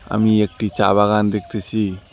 আমি একটি চা বাগান দেখতেসি।